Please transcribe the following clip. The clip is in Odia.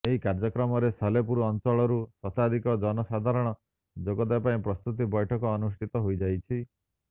ଏହି କାର୍ଯ୍ୟକ୍ରମରେ ସାଲେପୁର ଅଂଚଳରୁ ଶତାଧିକ ଜନସାଧାରଣ ଯୋଗଦେବା ପାଇଁ ପ୍ରସ୍ତୁତି ବୈଠକ ଅନୁଷ୍ଠିତ ହୋଇଯାଇଛି